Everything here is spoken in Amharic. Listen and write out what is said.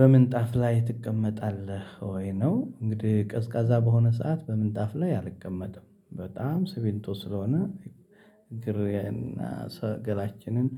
በምንጣፍ ላይ ትቀመጣለህ? ወይ ነው እንግዲህ ቀዝቃዛ በሆነ ሰዓት በምንጣፍ ላይ አልቀመጥም በጣም ስሚንቶ ስለሆነ። እግር እና ሰ ገላችንን